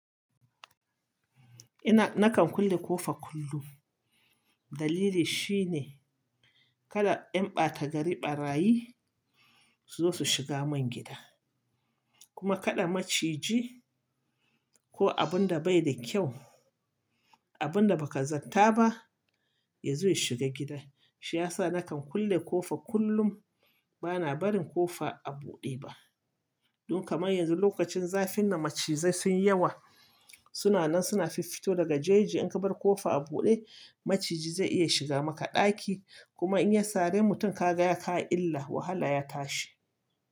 Ina, nakan kulle ƙofa kullum, dalili shine kada ƴan ɓata gari ɓarayi su zo. Su shiga mun gida. Kuma kaɗa maciji ko abin da bai da kyau, abunda baka zata ba yazo ya shiga gida. Shi yasa nakan kulle ƙofan kullum bana barin ƙofa a buɗe ba. Don kamar yanzu lokacin zafin nan macizai sun yawa. Suna nan suna fiffito daga jaje, in ka bar ƙofa a buɗe macijj zai iya shiga maka ɗaki kuma in ya sare mutum ka ga ya kawo illa wahala ya tashi.